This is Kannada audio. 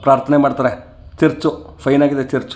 ಪ್ರಾರ್ಥನೆ ಮಾಡತ್ತರೆ ಚರ್ಚು ಫೈನ್ ಆಗಿದೆ ಚರ್ಚು.